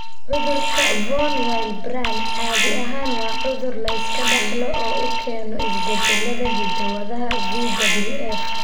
Cudurka Von Willebrand caadi ahaan waa cudur la iska dhaxlo oo uu keeno isbeddellada hidda-wadaha VWF.